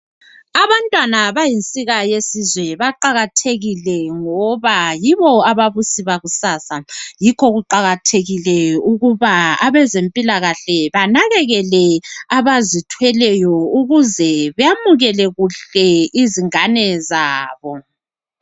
Abantwana bayinsika yesizwe baqakathekile ngoba yibo ababusi bakusasa yikho kuqakathekile ukuba abezempilakahle banakekele abazithweleyo ukuze bemukele kuhle izingane zabo.